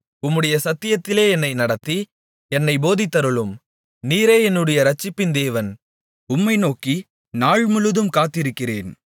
உம்முடைய சத்தியத்திலே என்னை நடத்தி என்னைப் போதித்தருளும் நீரே என்னுடைய இரட்சிப்பின் தேவன் உம்மை நோக்கி நாள்முழுதும் காத்திருக்கிறேன்